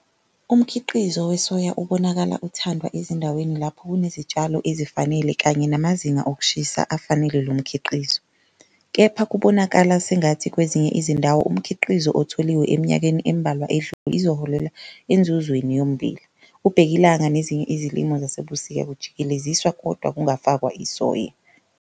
Umkhiqizo wesoya ubonakala uthandwa ezindaweni lapho kunezitshalo ezifanele kanye namazinga okushisa afanele lo mkhiqizo. Kepha kubonakala sengathi kwezinye izindawo umkhiqizo otholiwe eminyakeni embalwa edlule izoholela enzuzweni yommbila, ubhekilanga nezinye izilimo zasebusika kujikeleziswa kodwa kungafakwa isoya.